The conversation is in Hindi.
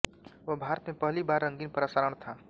वह भारत में पहली बार रंगीन प्रसारण था